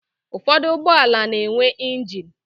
Ụfọdụ ụgbọala na-enwe ịnjin